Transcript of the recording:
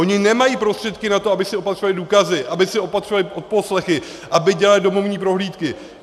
Oni nemají prostředky na to, aby si opatřovali důkazy, aby si opatřovali odposlechy, aby dělali domovní prohlídky.